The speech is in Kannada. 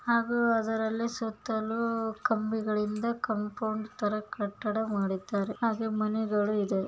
ಹಾಗೂ ಅದರಲ್ಲಿ ಸುತ್ತಲೂ ಕಂಬಿಗಳಿಂದ ಕಾಂಪೌಂಡ್ ತರ ಕಟ್ಟಡಾ ಹಾಗೂ ಮನೆಗಳು ಇದೆ.